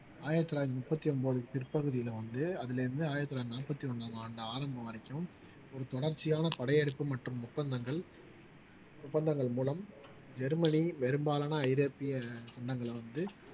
ஆயிரத்தி தொள்ளாயிரத்தி முப்பத்தி ஒன்பது பிற்பகுதியில வந்து அதிலிருந்து ஆயிரத்தி தொள்ளாயிரத்தி நாற்பத்தி ஒண்ணாம் ஆண்டு ஆரம்பம் வரைக்கும் ஒரு தொடர்ச்சியான படையெடுப்பு மற்றும் ஒப்பந்தங்கள் ஒப்பந்தங்கள் மூலம் ஜெர்மனி பெரும்பாலான ஐரோப்பிய வண்ணங்களை வந்து